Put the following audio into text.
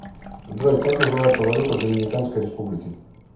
джой как называется валюта в доминиканской республике